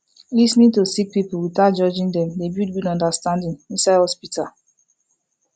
lis ten ing to sick pipul witout judging dem dey build good understanding inside hosptital